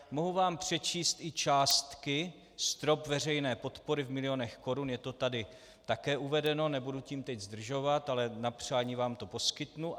Mohu vám přečíst i částky, strop veřejné podpory v milionech korun, je to tady také uvedeno, nebudu tím teď zdržovat, ale na přání vám to poskytnu.